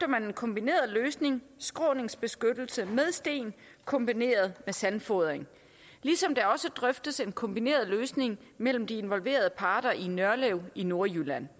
man en kombineret løsning skråningsbeskyttelse med sten kombineret med sandfodring ligesom der også drøftes en kombineret løsning mellem de involverede parter i nørlev i nordjylland